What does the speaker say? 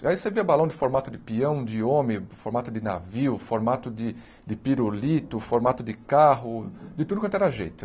Aí você via balão de formato de peão, de homem, formato de navio, formato de de pirulito, formato de carro, de tudo quanto era jeito.